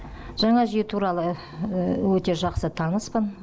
жаңа жүйе туралы өте жақсы таныспын